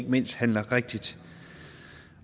mindst handler rigtigt